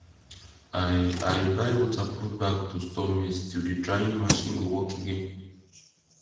i i buy waterproof bag to store maize till the drying machine go work again